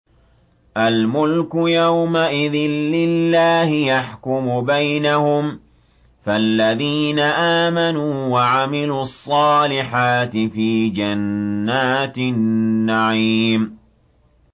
الْمُلْكُ يَوْمَئِذٍ لِّلَّهِ يَحْكُمُ بَيْنَهُمْ ۚ فَالَّذِينَ آمَنُوا وَعَمِلُوا الصَّالِحَاتِ فِي جَنَّاتِ النَّعِيمِ